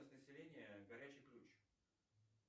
заселение горячий ключ